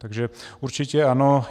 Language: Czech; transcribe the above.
Takže určitě ano.